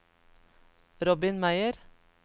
Robin Meyer